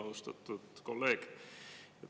Austatud kolleeg!